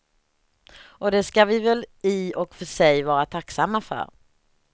Och det ska vi väl i och för sig vara tacksamma för.